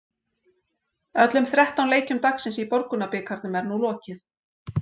Öllum þrettán leikjum dagsins í Borgunarbikarnum er nú lokið.